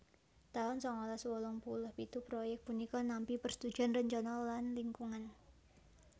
taun sangalas wolung puluh pitu proyèk punika nampi persetujuan rencana lan lingkungan